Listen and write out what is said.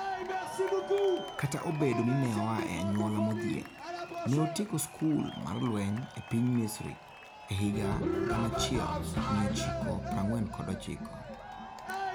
Kata obedo ni ne oa e anyuola modhier, ne otieko skul mar lweny e piny Misri e higa 1949.